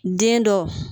Den dɔ